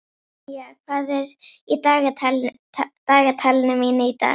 Ronja, hvað er í dagatalinu mínu í dag?